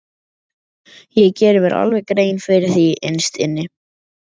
Ég geri mér alveg grein fyrir því innst inni.